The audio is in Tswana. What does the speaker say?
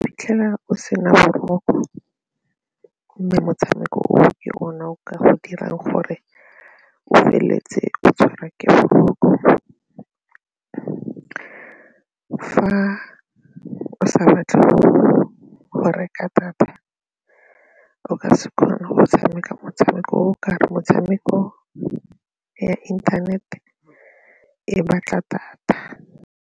Iphitlhela o sena boroko mme motshameko o ke ona o ka dirang gore o feleletse o tshwarwa ke boroko. Fa o sa batle go reka data o ka se kgone go tshameka motshameko ka gore metshameko e ya internet e batla data.